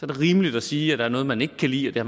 det rimeligt at sige at der er noget man ikke kan lide og